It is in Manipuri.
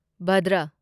ꯚꯥꯗꯔ